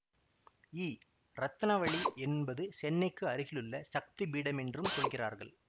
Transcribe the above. இ ரத்னாவளி என்பது சென்னைக்கு அருகிலுள்ள சக்தி பீடமென்றும் சொல்கிறார்கள்